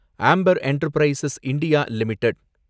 amber Enterprises India limited